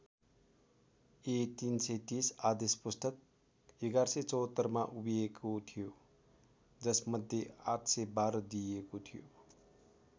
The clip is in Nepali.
ए३३० आदेश पुस्तक ११७४ मा उभिएको थियो जस मध्ये ८१२ दिइएको थियो।